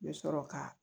N bɛ sɔrɔ ka